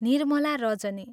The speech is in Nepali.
निर्मला रजनी।